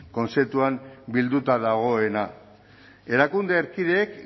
kontzeptuan bilduta dagoena erakunde erkideek